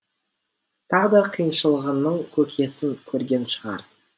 тағдыр қиыншылығының көкесін көрген шығар